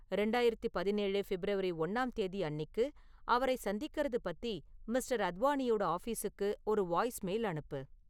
ரெண்டாயிரத்திப் பதினேழு பிப்ரவரி ஒண்ணாம் தேதி அன்னிக்கு அவரைச் சந்திக்குறது பத்தி மிஸ்டர். அத்வநியோட ஆஃபீசுக்கு ஒரு வாய்ஸ்மெயில் அனுப்பு